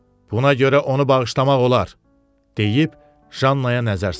Buna görə onu bağışlamaq olar, deyib Jannaya nəzər saldı.